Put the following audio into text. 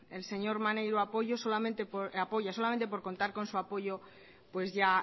el señor maneiro apoya solamente por contar con su apoyo pues ya